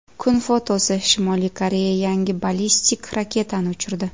Kun fotosi: Shimoliy Koreya yangi ballistik raketani uchirdi.